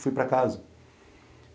Fui para casa.